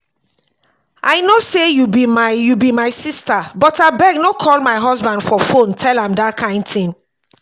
i know say you be my you be my sister but abeg no call my husband for phone tell am dat kin thing